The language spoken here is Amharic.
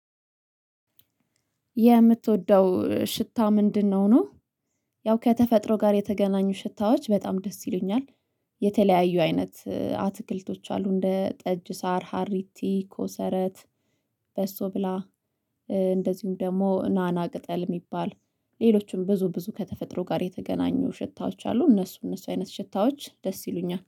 የምትወደው ሽታ ምንድነው? ነው ያው ከተፈጥሮ ጋር የተገናኙ ሽታዎች በጣም ደስ ይሉኛል። የተለያዩ አይነት አትክልቶች አሉ እንደ ጠጅ ሳር ሀሪቲ ኮሰረት በሶብላ እንደዚሁም ደግሞ ናና ቅጠል የሚባል ሌሎችም ብዙ ብዙ ከተፈጥሮ ጋር የተገናኙ ሽታዎች አሉ እነሱ እነሱ አይነት ሽታዎች ደስ ይሉኛል